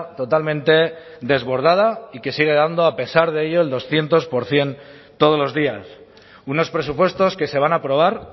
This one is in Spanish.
totalmente desbordada y que sigue dando a pesar de ello el doscientos por ciento todos los días unos presupuestos que se van a aprobar